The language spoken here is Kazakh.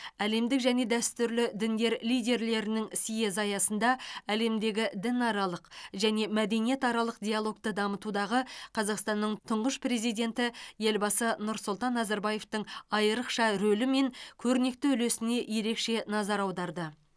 әлемдік және дәстүрлі діндер лидерлерінің съезі аясында әлемдегі дінаралық және мәдениетаралық диалогты дамытудағы қазақстанның тұңғыш президенті елбасы нұрсұлтан назарбаевтың айрықша рөлі мен көрнекті үлесіне ерекше назар аударды